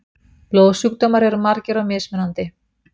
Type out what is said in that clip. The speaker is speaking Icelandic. Blóðsjúkdómar eru margir og mismunandi.